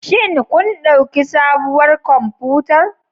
Shin kun ɗauki sabuwar kwamfutar?